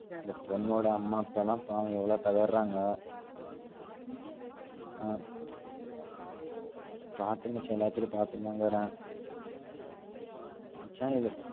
அந்த பொண்ணோட அம்மா அப்பாலாம் பாவம் எவ்ளோ கதர்ராங்க அஹ் பாத்தேன் மச்சா எல்லாத்லையும் பத்துனுதா இருக்குறேன் மச்சான்